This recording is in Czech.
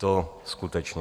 To skutečně.